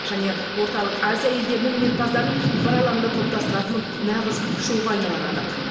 және орталық азия елдерінің өнерпаздарын бір алаңда топтастыратын нағыз шоуға айналары анық